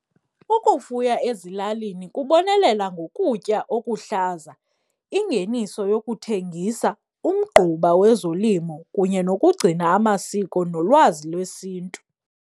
Ukufuya ezilalini kubonelela ngokutya okuhlaza, ingeniso yokuthengisa, umgquba wezolimo kunye nokugcina amasiko nolwazi lwesiNtu.